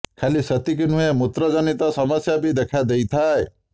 ଖାଲି ସେତିକି ନୁହେଁ ମୂତ୍ରଜନିତ ସମସ୍ୟା ବି ଦେଖା ଦେଇଥାଏ